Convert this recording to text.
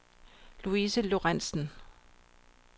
Louise Lorentsen